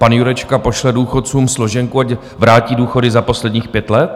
Pan Jurečka pošle důchodcům složenku, ať vrátí důchody za posledních pět let?